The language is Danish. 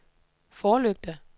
forlygter